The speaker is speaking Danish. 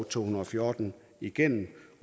to hundrede og fjorten igennem